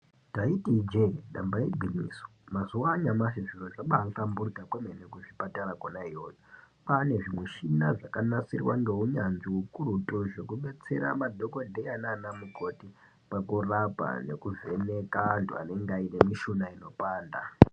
Ndaiti ijee damba igwinyiso mazuwaanyamashi zviro zvabaahlamburika kwemene kuzvipatara kona iyoyo kwaane zvimushina zvakanasirwa neunyanzvi ukukutu zvekudetsera madhokodheya nanamukoti pakurapa neekuvheneka anthu anenge aine mishuna inopanda.